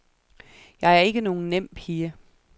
Jeg er ikke nogen nem pige.